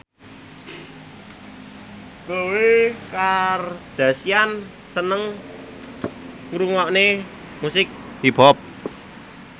Khloe Kardashian seneng ngrungokne musik hip hop